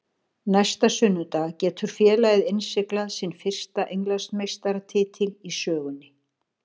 Næsta sunnudag getur félagið innsiglað sinn fyrsta Englandsmeistaratitil í sögunni.